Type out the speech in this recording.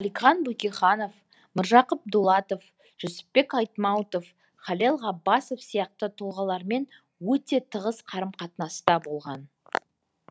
алихан бөкейханов міржақып дулатов жүсіпбек айтмауытов халел ғаббасов сияқты тұлғалармен өте тығыз қарым қатынаста болған